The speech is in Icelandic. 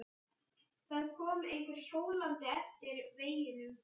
Það kom einhver hjólandi eftir veginum.